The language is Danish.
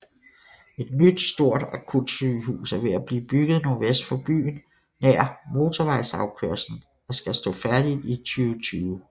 Et nyt stort akutsygehus er ved at blive bygget nordvest for byen nær motorvejsafkørslen og skal stå færdigt i 2020